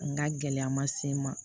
N ga gɛlɛya ma se n ma